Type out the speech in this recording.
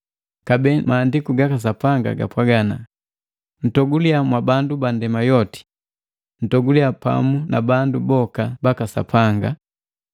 Kabee Maandiku gaka Sapanga gapwaga, “Ntogulia mwabandu bandema yoti, ntogulia pamu na bandu baka Sapanga!”